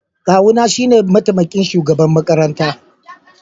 Kawuna shine mataimakin shugaban makaranta.